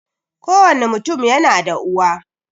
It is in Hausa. Kowani mutum yana da uwa